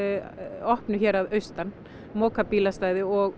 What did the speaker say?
opnu hér að austan moka bílastæði og